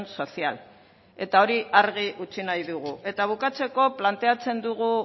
social eta hori argi utzi nahi dugu eta bukatzeko planteatzen dugu